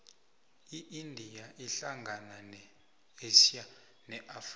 iindia ihlangana ne asia ne afrika